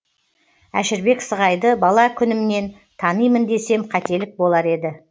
әшірбек сығайды бала күнімнен танимын десем қателік болар еді